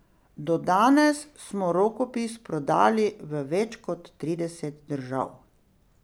Do danes smo rokopis prodali v več kot trideset držav.